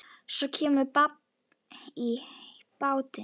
Svo kemur babb í bátinn.